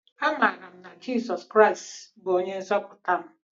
Amaara m na Jizọs Kraịst bụ Onye Nzọpụta m.